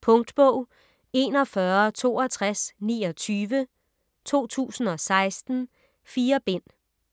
Punktbog 416229 2016. 4 bind.